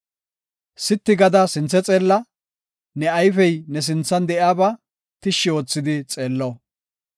Sitti gada sinthe xeella; ne ayfey ne sinthan de7iyaba tishshi oothidi xeello.